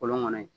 Kolon kɔnɔ in